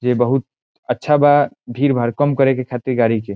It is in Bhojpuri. ये बहुत अच्छा बा भीड़-भाड़ कम करे के खातिर गाडी के।